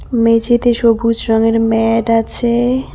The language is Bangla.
মেঝেতে সবুজ রঙের ম্যাট আছে।